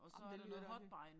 Ej men det lyder rigtigt